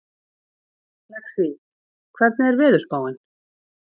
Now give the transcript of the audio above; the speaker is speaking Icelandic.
Lexí, hvernig er veðurspáin?